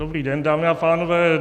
Dobrý den, dámy a pánové.